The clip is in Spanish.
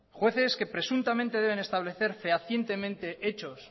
jueces que presuntamente deben establecer fehacientemente hechos